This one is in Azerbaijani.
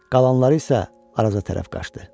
Qalanları isə Araza tərəf qaçdı.